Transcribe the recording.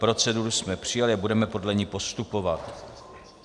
Proceduru jsme přijali a budeme podle ní postupovat.